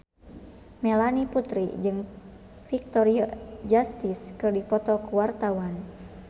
Melanie Putri jeung Victoria Justice keur dipoto ku wartawan